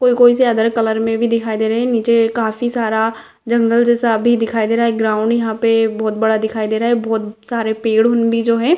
कोई-कोई सी other colour में भी दिखाई दे रही है निचे काफी सारा जंगल जैसा भी दिखाई दे रहा है एक ग्राउंड यहाँ पे बहुत बड़ा दिखाई दे रहा है बहुत सारे पेड़ उन भी जो है --